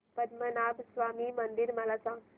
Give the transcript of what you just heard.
पद्मनाभ स्वामी मंदिर मला सांग